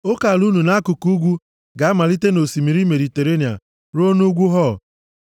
Oke ala unu nʼakụkụ ugwu ga-amalite nʼosimiri Mediterenịa ruo nʼugwu Hor.